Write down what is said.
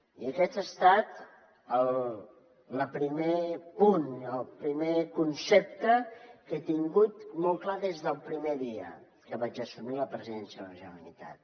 i aquest ha estat el primer punt el primer concepte que he tingut molt clar des del primer dia que vaig assumir la presidència de la generalitat